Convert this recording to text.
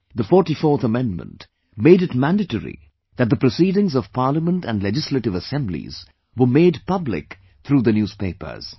The 44th amendment, made it mandatory that the proceedings of Parliament and Legislative Assemblies were made public through the newspapers